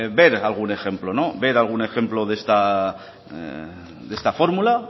ver algún ejemplo ver algún ejemplo de esta fórmula